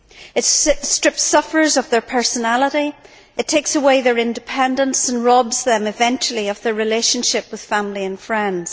It strips sufferers of their personality, it takes away their independence and robs them eventually of their relationship with family and friends.